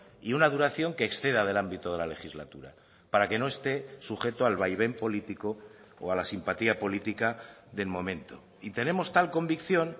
y una duración que exceda del ámbito de la legislatura para que no esté sujeto al vaivén político o a la simpatía política del momento y tenemos tal convicción